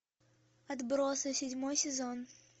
отбросы седьмой сезон